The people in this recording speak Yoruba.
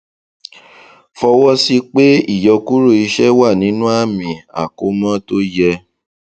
fọwọsí pé ìyọkúrò iṣẹ wà nínú àmì àkómọ tó yẹ